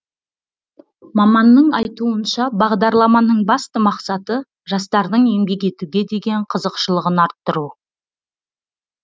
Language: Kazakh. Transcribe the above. маманның айтуынша бағдарламаның басты мақсаты жастардың еңбек етуге деген қызықшылығын арттыру